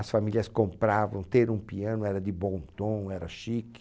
As famílias compravam, ter um piano, era de bom tom, era chique.